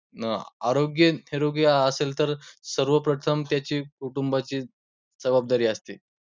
आरोग्य निरोगी असेल तर सर्वप्रथम त्याची कुटुंबाची जबाबदारी असते.